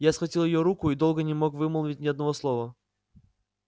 я схватил её руку и долго не мог вымолвить ни одного слова